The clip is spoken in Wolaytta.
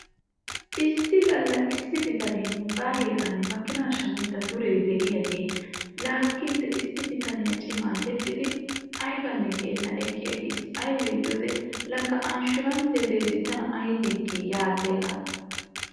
Issi gala issi bitane kaamiya laagiya bitanne hara bitaniya yexxiddi eqqi aggiis ayssi giikko anshshuranssiya qanxxanna giiddi.